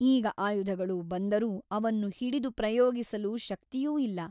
ಈಗ ಆಯುಧಗಳು ಬಂದರೂ ಅವನ್ನು ಹಿಡಿದು ಪ್ರಯೋಗಿಸಲು ಶಕ್ತಿಯೂ ಇಲ್ಲ.